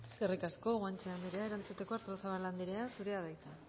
eskerrik asko guanche andrea erantzuteko artozabal andrea zurea da hitza